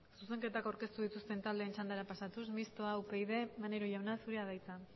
zuzenketak aurkeztu dituzten taldeen txandara pasatuz mistoa upyd maneiro jauna zurea da hitza